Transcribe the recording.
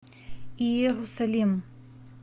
иерусалим